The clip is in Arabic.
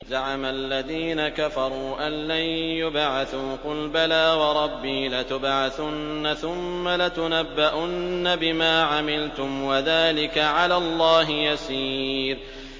زَعَمَ الَّذِينَ كَفَرُوا أَن لَّن يُبْعَثُوا ۚ قُلْ بَلَىٰ وَرَبِّي لَتُبْعَثُنَّ ثُمَّ لَتُنَبَّؤُنَّ بِمَا عَمِلْتُمْ ۚ وَذَٰلِكَ عَلَى اللَّهِ يَسِيرٌ